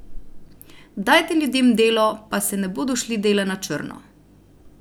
Dajte ljudem delo, pa se ne bodo šli dela na črno!